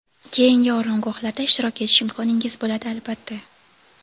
keyingi oromgohlarda ishtirok etish imkoningiz bo‘ladi, albatta.